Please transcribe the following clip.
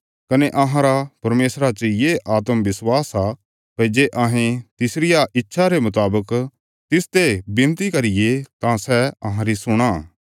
कने अहांरा परमेशरा च ये आत्मविश्वास आ भई जे अहें तिसरिया इच्छा रे मुतावक तिसते विनती करिये तां सै अहांरी सुणां